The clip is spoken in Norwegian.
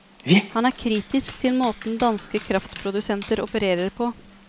Han er kritisk til måten danske kraftprodusenter opererer på.